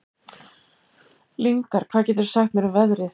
Lyngar, hvað geturðu sagt mér um veðrið?